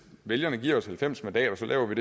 vælgerne giver os halvfems mandater laver vi